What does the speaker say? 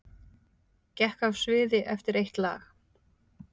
Gekk af sviði eftir eitt lag